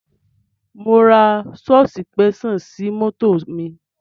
Mò ń ra sọ̀sìpẹ́ṣàn sí mọ́tò mi.